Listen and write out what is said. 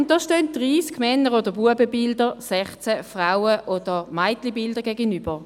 Dort standen 30 Männer oder Bubenbilder 16 Frauen- oder Mädchenbildern gegenüber.